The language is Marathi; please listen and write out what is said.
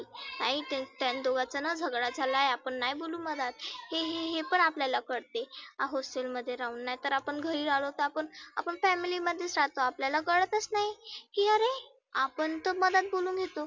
ऐक त्यान दोघाचाना झगडा झालाय आपण नाही बोलु मधात. हे हे पण आपल्याला कळतं. hostel मध्ये राहुन. नाहितर आपण घरी राहिलो तर आपण आपण family मध्येच राहतो आपल्याला कळतच नाही. की आरे आपण तर मधात बोलुन घेतो.